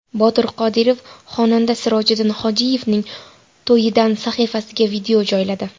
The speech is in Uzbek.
Botir Qodirov xonanda Sirojiddin Hojiyevning to‘yidan sahifasiga video joyladi.